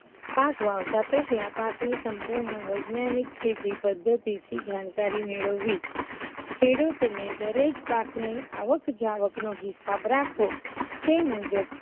પાક વાવતા પેહલા પાક ની સંપૂર્ણ વૈજ્ઞાનિક ખેતી પદ્ધતિ થી જાણકારી મેળવવી ખેડૂત ને દરેક પાક ની આવક જાવક નો હિસાબ રાખવો તે મુજબ